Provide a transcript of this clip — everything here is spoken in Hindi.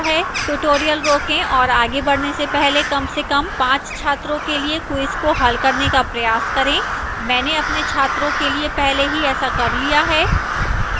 tutorial रोकें और आगे बढ़ने से पहले कम से कम 5 छात्रों के लिए quiz को हल करने का प्रयास करें मैंने अपने छात्रों के लिए पहले ही ऐसा कर लिया है